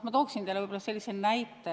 Ma toon teile sellise näite.